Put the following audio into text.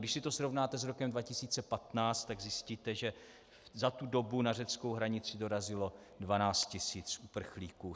Když si to srovnáte s rokem 2015, tak zjistíte, že za tu dobu na řeckou hranici dorazilo 12 tisíc uprchlíků.